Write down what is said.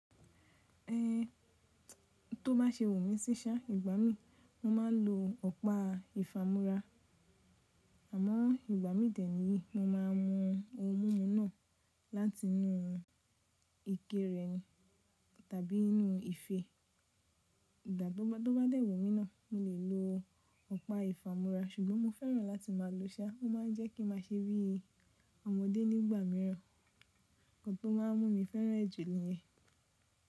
Ẹn tó bá ṣe wumi síṣá ìgbá mi, mo máa ń lo ọ̀pá ìfamọ́ra. Àmọ́ ìgbá mi dẹ̀ niyi mo máa mu oun mumu náà láti inú ike rẹ̀ tàbí inú ife. Ìgbà tó bá dẹ́ẹ̀ wu mí náà, mo lè lo ọ̀pá ìfamọ́ra ṣùgbọ́n mo fẹ́ràn láti máa lo ṣá. Ó máa ń jẹ́ kí n máa ṣe bi ọmọdé nígbà mìíràn. Nkan tó máa n mú mi fẹ́ràn ẹ̀ jù lẹ́yìn.